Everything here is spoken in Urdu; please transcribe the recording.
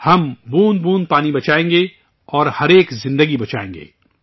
ہم بوند بوند پانی بچائیں گے اور ہر ایک زندگی بچائیں گے